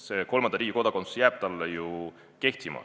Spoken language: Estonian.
See kolmanda riigi kodakondsus jääb talle ju kehtima.